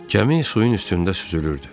Gəmi suyun üstündə süzülürdü.